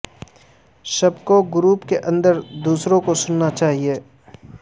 سب کو گروپ کے اندر دوسروں کو سننا چاہیے